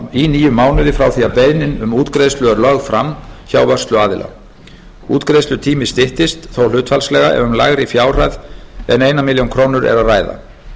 í níu mánuði frá því að beiðni um útgreiðslu er lögð fram hjá vörsluaðila útgreiðslutími styttist þó hlutfallslega ef um lægri fjárhæð en eina milljón króna er að ræða